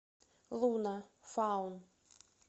луна фаун